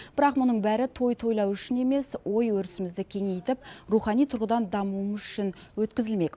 бірақ мұның бәрі той тойлау үшін емес ой өрісімізді кеңейтіп рухани тұрғыдан дамуымыз үшін өткізілмек